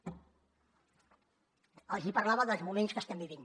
els hi parlava dels moments que estem vivint